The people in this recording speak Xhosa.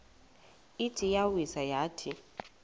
ithi iyawisa yathi